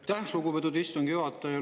Aitäh, lugupeetud istungi juhataja!